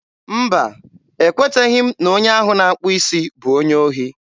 mba, e kweteghị m na onye ahụ na-akpụ isi bụ onye ohi.